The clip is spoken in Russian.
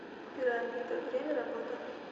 пирамида время работы